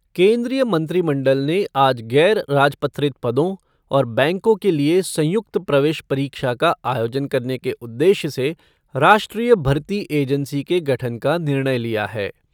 केन्द्रीय मंत्रिमंडल ने आज गैर राजपत्रित पदों और बैंकों के लिए संयुक्त प्रवेश परीक्षा का आयोजन करने के उद्देश्य से राष्ट्रीय भर्ती एजेन्सी के गठन का निर्णय लिया है।